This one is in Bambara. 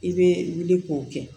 I bɛ wuli k'o kɛ